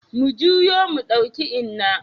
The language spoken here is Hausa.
Mu juyo mu ɗauki Inna.